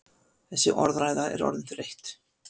Þessi orðræða er orðin þreytt!